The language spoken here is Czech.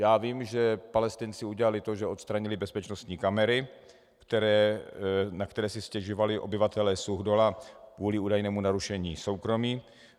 Já vím, že Palestinci udělali to, že odstranili bezpečnostní kamery, na které si stěžovali obyvatelé Suchdola kvůli údajnému narušení soukromí.